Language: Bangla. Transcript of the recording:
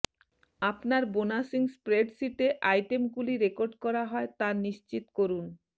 আপনার বোনাসিং স্প্রেডশীটে আইটেমগুলি রেকর্ড করা হয় তা নিশ্চিত করুন